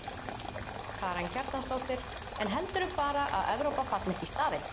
Karen Kjartansdóttir: En heldurðu bara að Evrópa falli ekki í stafi?